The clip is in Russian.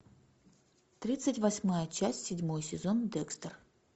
тридцать восьмая часть седьмой сезон декстер